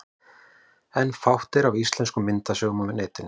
En fátt er af íslenskum myndasögum á netinu.